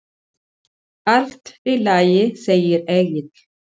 Allt í lagi, segir Egill.